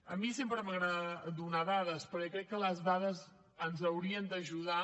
a mi sempre m’agrada donar dades perquè crec que les dades ens haurien d’ajudar